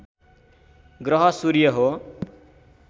ग्रह सूर्य हो